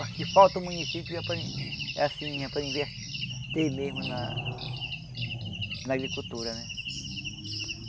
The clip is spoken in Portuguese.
Aqui falta o município para in assim para inverter mesmo na na agricultura né.